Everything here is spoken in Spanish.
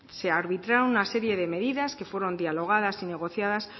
se arbitraron una serie de medidas que fueron dialogadas y negociadas